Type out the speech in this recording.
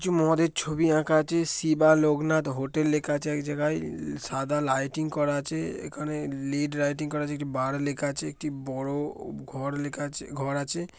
কিছু মদের ছবি আঁকা আছে। শিবা লোকনাথ হোটেল লেখা আছে এক জায়গায়। উমমমমম সাদা লাইটিং করা আছে। এখানে লিড লাইটিং করা আছে। একটি বার লেখা আছে। একটি বড়ো ঘর লেখা আছে ঘর আছে।